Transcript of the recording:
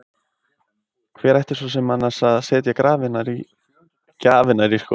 Hver ætti svo sem annars að setja gjafirnar í skóinn?